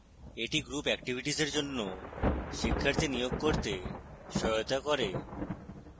এটি group activities এর জন্য শিক্ষার্থী নিয়োগ করতে সহায়তা করবে